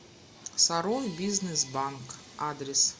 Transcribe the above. саровбизнесбанк адрес